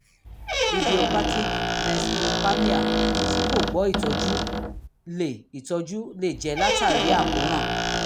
idiopathic necrospermia tí kò gbọ́ ìtọ́jú lè ìtọ́jú lè jẹ́ látàrí àkóràn